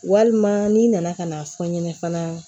Walima n'i nana ka n'a fɔ n ɲɛnɛ fana